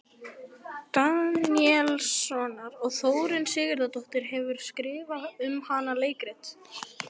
Daníelssonar, og Þórunn Sigurðardóttir hefur skrifað um hana leikrit.